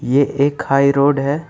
ये एक high road है।